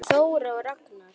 Þóra og Ragnar.